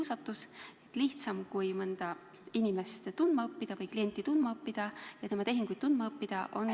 See tundub lihtsam kui mõnda klienti tundma õppida ja tema tehinguid uurida.